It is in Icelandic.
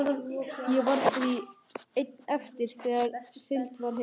Ég varð því einn eftir þegar siglt var heim.